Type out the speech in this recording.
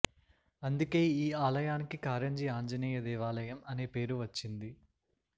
అందుకే ఈ ఆలయానికి కారంజి ఆంజనేయ దేవాలయం అనే పేరు వచ్చింది